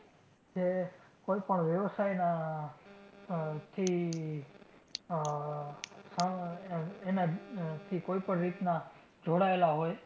જે કોઈ પણ વ્યવસાયના આહ થી આહ આહ એના, એનાથી કોઈ પણ રીતના જોડાયેલા હોય